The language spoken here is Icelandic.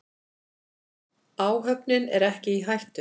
Áhöfnin er ekki í hættu.